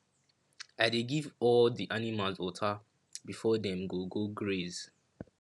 i dey give all the animals water before dem go go graze